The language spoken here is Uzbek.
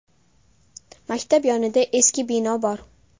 Maktab yonida eski bino bor.